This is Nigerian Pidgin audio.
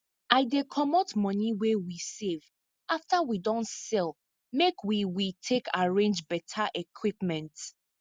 i dey commot moni wey we save after we don sell make we we take arrange beta equipment